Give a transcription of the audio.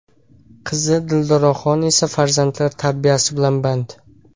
Qizi Dildoraxon esa farzandlar tarbiyasi bilan band.